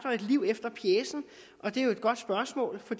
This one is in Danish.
liv efter pjecen og det er jo et godt spørgsmål for